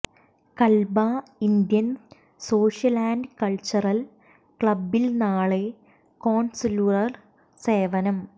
Kalba Indian Social and Cultural ക്ലബിൽ നാളെ consular സേവനം